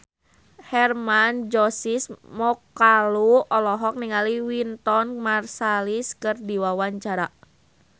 Hermann Josis Mokalu olohok ningali Wynton Marsalis keur diwawancara